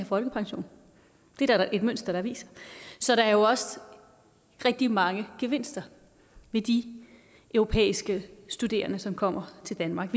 folkepension det er der da et mønster der viser så der er jo også rigtig mange gevinster ved de europæiske studerende som kommer til danmark